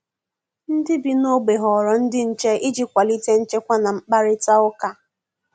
Ndị bi n'ogbe họrọ ndị nche iji kwalite nchekwa na mkparitauka